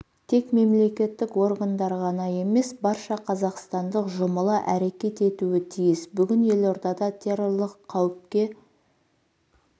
тек мемлекеттік органдар ғана емес барша қазақстандық жұмыла әрекет етуі тиіс бүгін елордада террорлық қауіпке